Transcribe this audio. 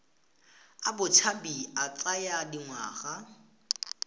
a botshabi a tsaya dingwaga